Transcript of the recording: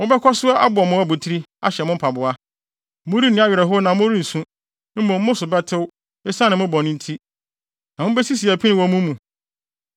Mobɛkɔ so abɔ mo abotiri ahyɛ mo mpaboa. Morenni awerɛhow na morensu, mmom mo so bɛtew esiane mo bɔne nti, na mubesisi apini wɔ mo mu.